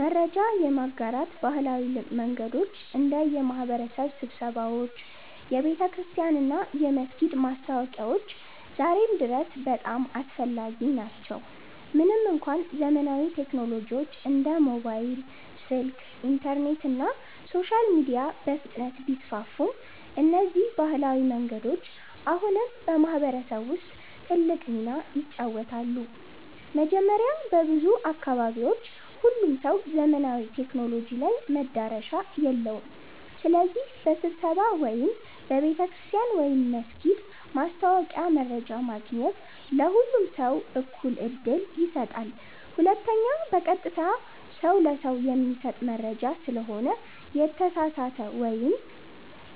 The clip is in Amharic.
መረጃ የማጋራት ባህላዊ መንገዶች እንደ የማህበረሰብ ስብሰባዎች፣ የቤተክርስቲያን እና የመስጊድ ማስታወቂያዎች ዛሬም ድረስ በጣም አስፈላጊ ናቸው። ምንም እንኳ ዘመናዊ ቴክኖሎጂዎች እንደ ሞባይል ስልክ፣ ኢንተርኔት እና ሶሻል ሚዲያ በፍጥነት ቢስፋፉም፣ እነዚህ ባህላዊ መንገዶች አሁንም በማህበረሰብ ውስጥ ትልቅ ሚና ይጫወታሉ። መጀመሪያ፣ በብዙ አካባቢዎች ሁሉም ሰው ዘመናዊ ቴክኖሎጂ ላይ መዳረሻ የለውም። ስለዚህ በስብሰባ ወይም በቤተ ክርስቲያን/መስጊድ ማስታወቂያ መረጃ ማግኘት ለሁሉም ሰው እኩል ዕድል ይሰጣል። ሁለተኛ፣ በቀጥታ ሰው ለሰው የሚሰጥ መረጃ ስለሆነ የተሳሳተ መረጃ ወይም